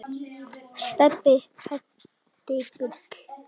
Stebbi heitinn Gull.